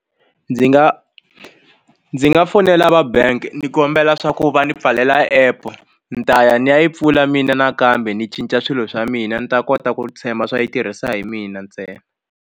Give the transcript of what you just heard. Ndzi nga ndzi nga fonela va bank ni kombela swa ku va ndzi pfalela app ni ta ya ndzi ya yi pfula mina nakambe ndzi cinca swilo swa mina ni ta kota ku tshemba swa yi tirhisa hi mina ntsena.